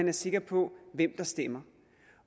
er sikre på hvem der stemmer